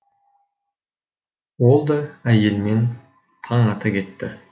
ол да әйелімен таң ата кетті